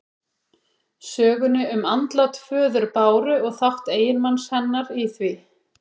Sögunni um andlát föður Báru og þátt eiginmanns hennar í því.